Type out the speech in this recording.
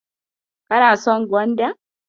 Kana son gwanda?